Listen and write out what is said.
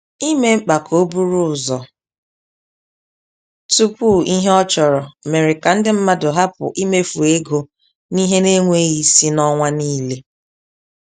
Ime mkpa ka o buru ụzọ tupu ihe a chọrọ mere ka ndị mmadụ hapụ imefu ego n'ihe na-enweghị isi n'ọnwa niile.